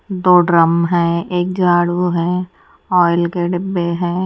दो ड्रम हैं एक झाड़ू है ऑयल के डिब्बे हैं।